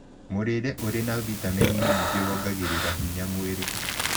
Mũrĩre ũrĩ na vĩtamenĩ nyĩngĩ wongagĩrĩra mwĩrĩ hinya